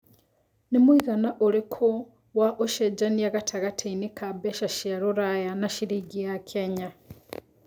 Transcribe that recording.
nĩ mũigana ũrĩkũ wa ũcenjanĩa gatagatiinĩ ka mbeca cia rũraya na ciringi ya Kenya